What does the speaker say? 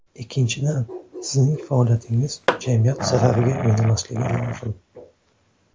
Ikkinchidan, sizning faoliyatingiz jamiyat zarariga o‘ynamasligi lozim.